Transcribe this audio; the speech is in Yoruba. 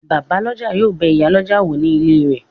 Bàbálọ́jà yóò bẹ ìyálọ́jà wò ní ilé rẹ̀